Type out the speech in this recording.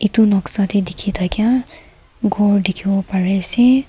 itu noksa te dikhi thakia ghor dikhibo parie ase.